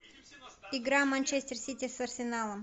игра манчестер сити с арсеналом